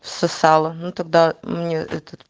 сосала ну тогда ну этот